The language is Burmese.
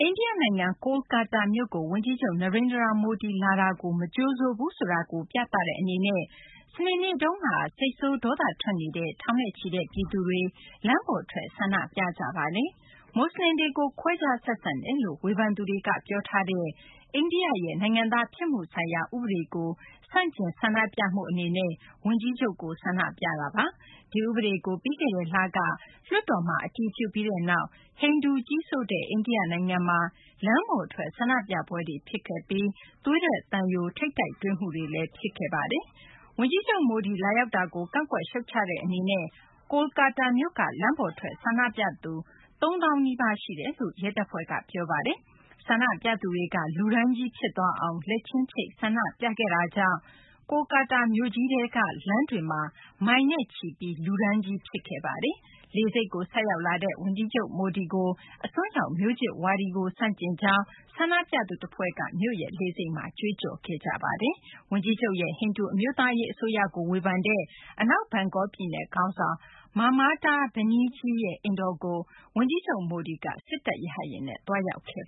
အိန္ဒိယနိုင်ငံ ကိုလ်ကာတာမြို့ကို ဝန်ကြီးချုပ် Narendra Modi လာတာ မကြိုဆိုဘူးဆိုတာကို ပြသတဲ့အနေနဲ့ စနေနေ့က စိတ်ဆိုး ဒေါသထွက်နေတဲ့ ထောင်နဲ့ချီတဲ့ ပြည်သူတွေ လမ်းပေါ်ထွက် ဆန္ဒပြခဲ့ကြပါတယ်။ မွတ်စလင်တွေကို ခွဲခြားဆက်ဆံတယ်လို့ ဝေဖန်သူတွေက ပြောဆိုထားတဲ့ အိန္ဒိယရဲ့ နိုင်ငံသား ဖြစ်မှုဆိုင်ရာ ဥပဒေကို ဆန့်ကျင်ဆန္ဒပြမှု အနေနဲ့ ဝန်ကြီးချုပ်ကို အခုလို ဆန္ဒပြကြတာပါ။ ဒီဥပဒေကို ပြီးခဲ့တဲ့လမှာ လွှတ်တော်က အတည်ပြုလိုက်ပြီးနောက် ဟိန္ဒူကြီးစိုးတဲ့ အိန္ဒိယနိုင်ငံမှာ လမ်းပေါ်ထွက် ဆန္ဒပြပွဲတွေ ဖြစ်ခဲ့ပြီး သွေးထွက်သံယို ထိပ်တိုက်တွေ့မှုတွေလည်း ဖြစ်ခဲ့တာပါ။ ဝန်ကြီးချုပ် Modi လာရောက်တာကို ကန့်ကွက်ရှုတ်ချတဲ့ အနေနဲ့ ကိုလ်ကာတာမြို့မှာ လမ်းပေါ်ထွက် ဆန္ဒပြသူ ၃၀,၀၀၀ နီးပါး ရှိတယ်လို့ ရဲတပ်ဖွဲ့က ပြောဆိုထားပါတယ်။ ဆန္ဒပြသူတွေက လူတန်းကြီးဖြစ်သွားအောင် လက်ချင်းချိတ် ဆန္ဒပြခဲ့ကြတာကြောင့် ကိုလ်ကာတာမြို့ကြီးထဲက လမ်းတွေမှာ မိုင်နဲ့ချီပြီး လူတန်းကြီး ဖြစ်ခဲ့ပါတယ်။ ဝန်ကြီးချုပ် Modi လိုက်ပါလာတဲ့ လေယာဉ် ဆင်းလာချိန်မှာပဲ ဆန္ဒပြသူတဖွဲ့က အစွန်းရောက် မျိုးချစ်ဝါဒကို ဆန့်ကျင်ကြောင်း လေဆိပ်မှာ ကြွေးကြော်ခဲ့ကြပါတယ်။ ဝန်ကြီးချုပ်ရဲ့ ဟိန္ဒူ အမျိုးသားရေး အစိုးရကို ဝေဖန်တဲ့ အနောက်ဘန်ဂေါလ် ပြည်နယ်ခေါင်းဆောင် Mamata Banerjee ရဲ့ အိမ်တော်ကို ဝန်ကြီးချုပ် Modi က စစ်တပ်ရဟတ်ယာဉ်နဲ့ သွားရောက်ခဲ့